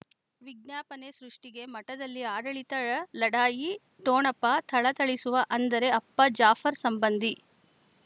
ವಿಜ್ಞಾಪನೆ ಸೃಷ್ಟಿಗೆ ಮಠದಲ್ಲಿ ಆಡಳಿತ ಲಢಾಯಿ ಠೊಣಪ ಥಳಥಳಿಸುವ ಅಂದರೆ ಅಪ್ಪ ಜಾಫರ್ ಸಂಬಂಧಿ